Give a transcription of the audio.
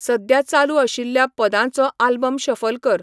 सद्या चालू आशिल्ल्या पदांचो आल्बम शफल कर